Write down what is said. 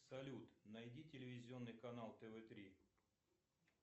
салют найди телевизионный канал тв три